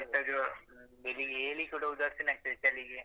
ಶೀತ ಜ್ವರ ಹ್ಮ್ ಬೆಳಿಗ್ಗೆ ಏಳಿಕ್ಕೆ ಕೂಡ ಉದಾಸಿನ ಆಗ್ತದೆ ಚಳಿಗೆ.